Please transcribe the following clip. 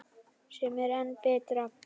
Sem er enn betra.